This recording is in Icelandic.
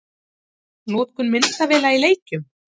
Notkun myndavéla í leikjum?